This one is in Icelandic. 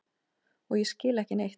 Og ég skil ekki neitt.